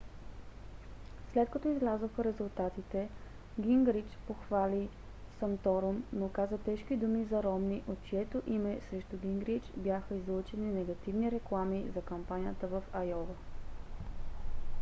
след като излязоха резултатите гингрич похвали санторум но каза тежки думи за ромни от чието име срещу гингрич бяха излъчени негативни реклами за кампанията в айова